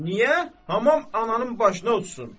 Niyə hamam ananın başına uçsun?